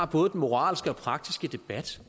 både moralske og praktiske debat